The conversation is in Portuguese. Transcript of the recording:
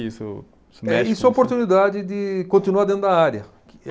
Isso é, isso uma oportunidade de continuar dentro da área.